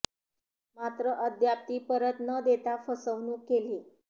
मात्र अद्याप ती परत न देता फसवणूक केली